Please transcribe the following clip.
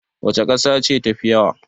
Wace kasa ce tafi yawa?